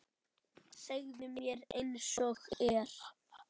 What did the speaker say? Segðu mér einsog er.